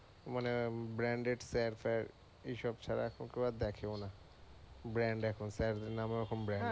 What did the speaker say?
মানে branded sir ফের এসব ছাড়া এখন কেও আর দেখে ও না। Brand এখন স্যার নামে ও এখন brand